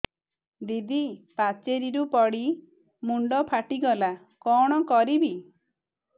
ଦିଦି ପାଚେରୀରୁ ପଡି ମୁଣ୍ଡ ଫାଟିଗଲା କଣ କରିବି